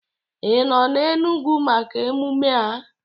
Ị nọ n'Enugwu maka emume a?